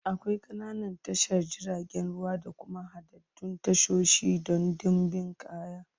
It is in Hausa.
Akwai ƙananan tashar jiragen ruwa da kuma haɗaɗɗun tashoshi don ɗimbin kaya.